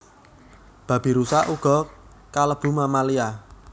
Babirusa uga kalebu mammalia